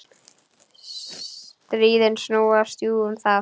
Stríðin snúast jú um það.